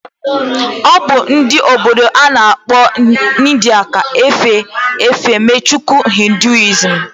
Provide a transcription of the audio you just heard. Obu ndi obodo ana akpo India ka cha efe efemchukwu hinduism